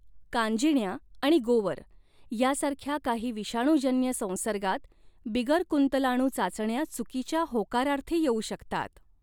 कांजिण्या आणि गोवर यासारख्या काही विषाणूजन्य संसर्गांत बिगरकुंतलाणु चाचण्या चुकीच्या होकारार्थी येऊ शकतात.